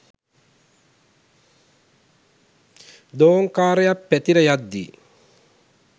දෝංකාරයක් පැතිර යද්දී